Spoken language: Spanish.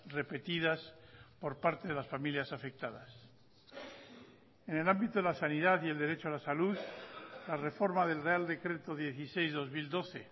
repetidas por parte de las familias afectadas en el ámbito de la sanidad y el derecho a la salud la reforma del real decreto dieciséis barra dos mil doce